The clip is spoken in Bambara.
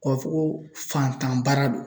K'a fɔ ko fantan baara don.